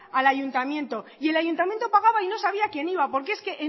al ayuntamiento y el ayuntamiento pagaba y no sabía quién iba porque es que